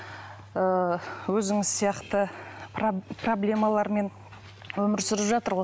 ііі өзіңіз сияқты проблемалармен өмір сүріп жатыр ғой